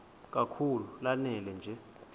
kakhulu lanela nje